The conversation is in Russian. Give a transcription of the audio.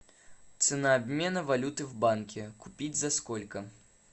цена обмена валюты в банке купить за сколько